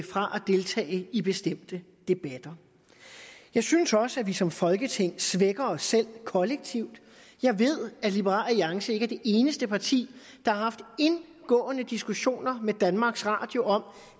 fra at deltage i bestemte debatter jeg synes også at vi som folketing svækker os selv kollektivt jeg ved at liberal alliance ikke er det eneste parti der har haft indgående diskussioner med danmarks radio om